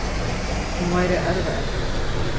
Hún væri erfðaefnið.